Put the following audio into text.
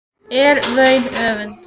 er vaun öfund